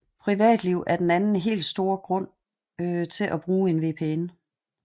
Privatliv er den anden helt store grund til at bruge en VPN